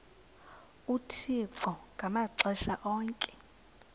uthixo ngamaxesha onke